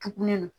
Tugunnin